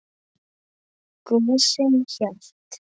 Gosinn hélt.